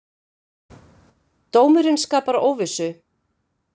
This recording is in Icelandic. Dómurinn skapar óvissu